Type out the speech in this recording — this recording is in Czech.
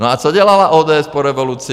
No a co dělala ODS po revoluci?